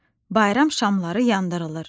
Bayram şamları yandırılır.